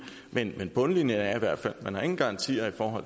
men bundlinjen er i hvert fald at man ingen garanti har for